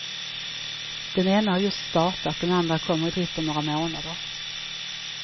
Den ena har just startat, den andra kommer i drift om några månader.